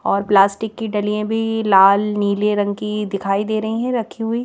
और प्लास्टिक की डलियां भी लाल नीले रंग की दिखाई दे रही हैं रखी हुई।